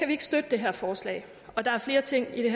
vi ikke støtte det her forslag og der er flere ting i